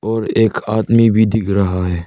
और एक आदमी भी दिख रहा है।